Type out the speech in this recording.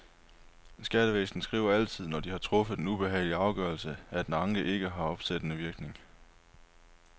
Skattevæsenet skriver altid, når de har truffet en ubehagelig afgørelse, at en anke har ikke opsættende virkning.